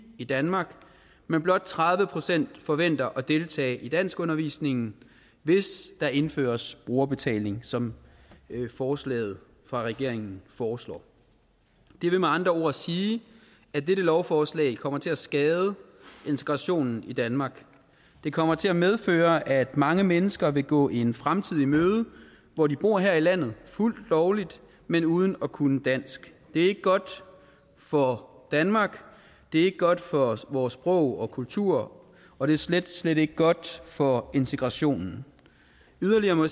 i danmark men blot tredive procent forventer at deltage i danskundervisningen hvis der indføres brugerbetaling som forslaget fra regeringen foreslår det vil med andre ord sige at dette lovforslag kommer til at skade integrationen i danmark det kommer til at medføre at mange mennesker vil gå en fremtid i møde hvor de bor her i landet fuldt lovligt men uden at kunne dansk det er ikke godt for danmark det er ikke godt for vores sprog og kultur og det er slet slet ikke godt for integrationen yderligere må